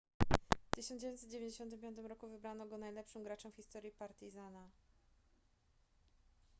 w 1995 roku wybrano go najlepszym graczem w historii partizana